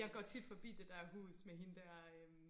jeg går tit forbi det der hus med hende der øhm